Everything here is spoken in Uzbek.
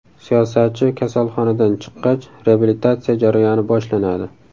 Siyosatchi kasalxonadan chiqqach, reabilitatsiya jarayoni boshlanadi.